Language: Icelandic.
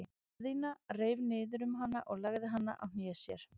Daðína reif niður um hana og lagði hana á hné sér.